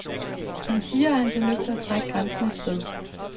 Han siger, at han bliver nødt til at trække grænsen et sted.